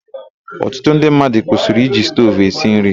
Ọtụtụ ndị mmadụ kwụsịrị iji stovu esi nri.